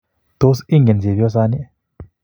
Tos ingen chepyosani?